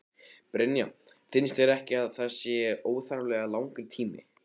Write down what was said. Brynja: Finnst þér ekki að þetta sé óþarflega langur tími?